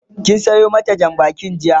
kin Sayo mata Jan bakin jiya?